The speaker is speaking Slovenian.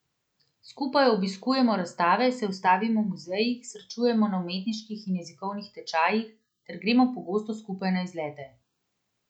Skupaj obiskujemo razstave, se ustavimo v muzejih, srečujemo na umetniških in jezikovnih tečajih ter gremo pogosto skupaj na izlete.